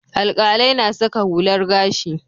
Alƙalai na saka hular gashi.